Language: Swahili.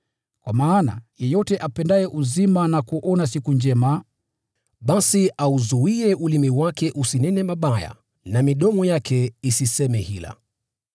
Kwa maana, “Yeyote apendaye uzima na kuona siku njema, basi auzuie ulimi wake usinene mabaya, na midomo yake isiseme hila.